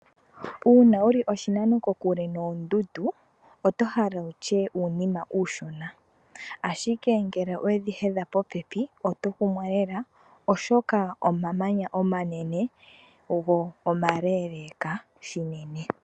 Uuna wuli oshinano oshile noondundu, oto hala wutye uunima uushona, ashike ngele owedhi hedha popepi, oto kumwa lela, oshoka omamanya omanene go omaleeleeka shinene.